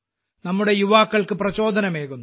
നമ്മുടെ യുവജനങ്ങൾക്ക് പ്രചോദനമാകുന്നു